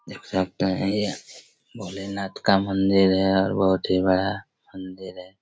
देख सकता है यह भोलेनाथ का मंदिर है और बहोत बड़ा मंदिर है।